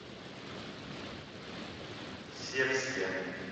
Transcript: севске